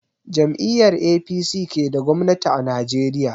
Jam'iyar APC ke da gwamnati a Najeriya.